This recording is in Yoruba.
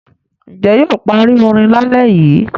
Ǹjẹ́ yóò parí orin lálẹ́ yìí?